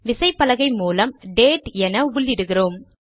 விசைப்பலகை மூலம் டேட் என உள்ளிடுகிறோம்